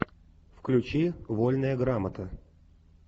включи вольная грамота